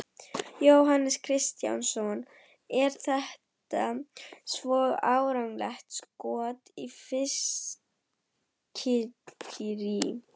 Jóhannes Kristjánsson: Er þetta svona árlegt skot í fiskiríi?